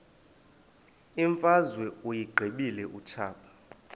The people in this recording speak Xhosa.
imfazwe uyiqibile utshaba